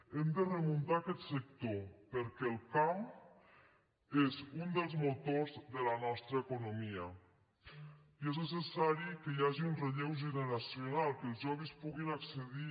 hem de remuntar aquest sector perquè el camp és un dels motors de la nostra economia i és necessari que hi hagi un relleu generacional que els joves puguin accedir